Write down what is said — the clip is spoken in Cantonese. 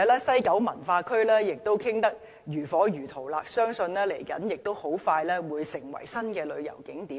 西九文化區的討論亦進行得如火如荼，相信很快會成為新的旅遊景點。